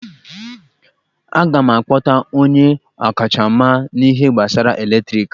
Aga m akpọta onye ọkachamara n'ihe gbasara eletriki